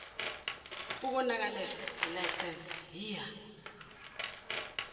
ukonakalelwa yilayisensi yiya